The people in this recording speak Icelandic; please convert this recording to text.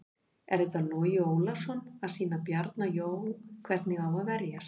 Er þetta Logi Ólafsson að sýna Bjarna Jó hvernig á að verjast?